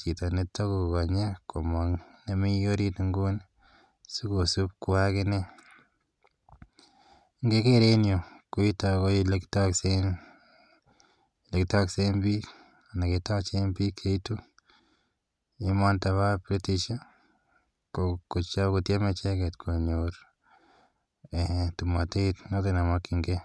chito kora ne takokeni komang' ne mi orit inguni sikosup kowa akine. Ngeker en yutok, koitok ko ole kitaksen piik anan ketachen pik che itu emaniton pa British kotieme icheget konyor tomatet notok ne makchingei.